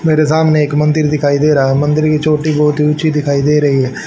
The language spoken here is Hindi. मेरे सामने एक मंदिर दिखाई दे रहा है मंदिर की चोटी बहुत ही ऊंची दिखाई दे रही है।